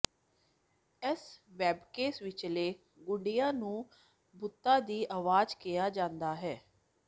ਇਸ ਵੈਬਕੈਮ ਵਿਚਲੇ ਗੁੱਡੀਆਂ ਨੂੰ ਭੂਤਾਂ ਦੀ ਆਵਾਜ਼ ਕਿਹਾ ਜਾਂਦਾ ਹੈ